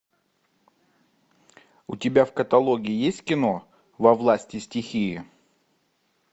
у тебя в каталоге есть кино во власти стихии